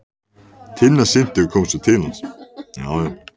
Tinna synti og kom svo til hans.